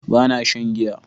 ba na shan giya